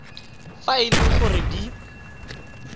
fa e le gore di